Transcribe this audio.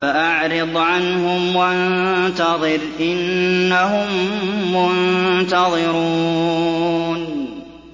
فَأَعْرِضْ عَنْهُمْ وَانتَظِرْ إِنَّهُم مُّنتَظِرُونَ